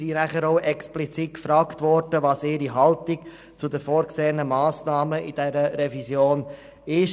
Sie wurden explizit nach ihrer Haltung gegenüber den in der Revision vorgesehenen Massnahmen gefragt.